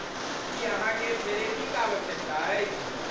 की अहाँकेँ थेरेपीक आवश्यकता अछि?